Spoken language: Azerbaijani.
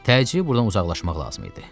Təcili burdan uzaqlaşmaq lazım idi.